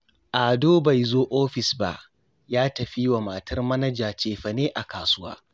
Ado bai zo ofis ba, ya tafi yi wa matar Manaja cefane a kasuwa